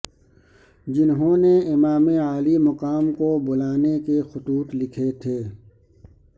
جنہوں نے امام عالی مقام کو بلانے کے خطوط لکھے تھے